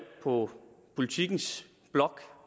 på politikens blog